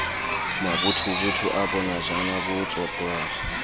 mabothobotho a bonojana bo tsotwang